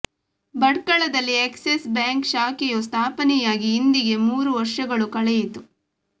ಭಟ್ಕಳದಲ್ಲಿ Axis bank ಶಾಖೆಯು ಸ್ಥಾಪನೆಯಾಗಿ ಇಂದಿಗೆ ಮೂರು ವರ್ಷಗಳು ಕಳೆಯಿತು